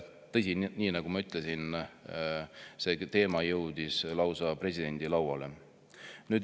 Tõsi, nii nagu ma ütlesin, see teema jõudis lausa presidendi lauale.